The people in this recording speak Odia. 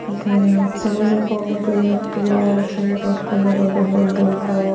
ଏଠାରେ ସବୁଜ କା ଗେ ୱାଲ ସବୁଜ କଲର ଡବା ।